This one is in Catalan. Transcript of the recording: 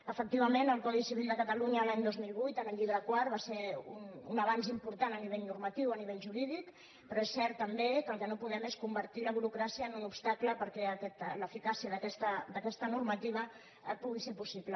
efectivament el codi civil de catalunya l’any dos mil vuit en el llibre quart va ser un avanç important a nivell normatiu o a nivell jurídic però és cert també que el que no podem és convertir la burocràcia en un obstacle perquè l’eficàcia d’aquesta normativa pugui ser possible